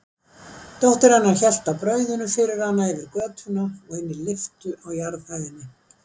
Dóttir hennar hélt á brauðinu fyrir hana yfir götuna og inn í lyftu á jarðhæðinni.